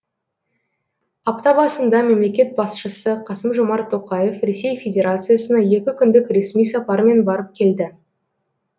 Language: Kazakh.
апта басында мемлекет басшысы қасым жомарт тоқаев ресей федерациясына екі күндік ресми сапармен барып келді